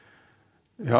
já